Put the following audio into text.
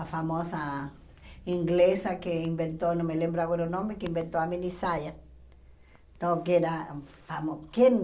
A famosa inglesa que inventou, não me lembro agora o nome, que inventou a mini saia. Então que era famo que